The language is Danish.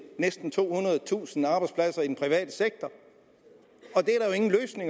næsten tohundredetusind arbejdspladser i den private sektor